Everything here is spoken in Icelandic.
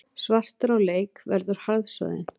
Svartur á leik verður harðsoðin